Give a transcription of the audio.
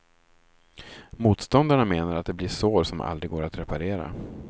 Motståndarna menar att det blir sår som aldrig går att reparera.